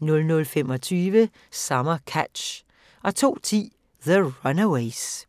00:25: Summer Catch 02:10: The Runaways